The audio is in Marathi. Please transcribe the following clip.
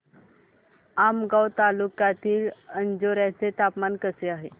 आमगाव तालुक्यातील अंजोर्याचे हवामान कसे आहे